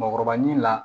Mɔkɔrɔba ɲina